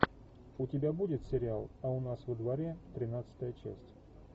у тебя будет сериал а у нас во дворе тринадцатая часть